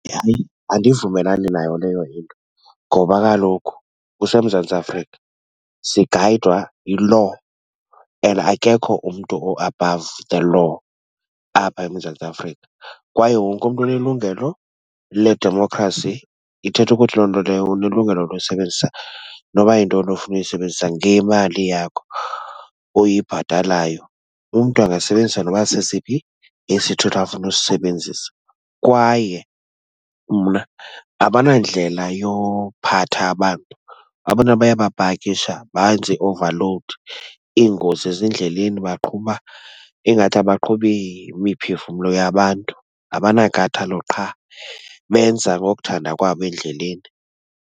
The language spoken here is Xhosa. Hayi, andivumelani nayo leyo into ngoba kaloku kuseMzantsi Afrika, sigayidwa yi-law, and akekho umntu o-above the law apha eMzantsi Afrika. Kwaye wonkumntu unelungelo ledemokhrasi, ithetha ukuthi loo nto leyo unelungelo losebenzisa noba yintoni ofuna uyisebenzisa ngemali yakho oyibhatalayo. Umntu angasebenzisa noba sesiphi isithuthi afuna usisebenzisa, kwaye mna abanandlela yophatha abantu. Abantu aba bayabapakisha banze ii-overload, iingozi ezindleleni. Baqhuba ingathi abaqhubi imiphefumlo yabantu. Abanankathalo qha, benza ngokuthanda kwabo endleleni.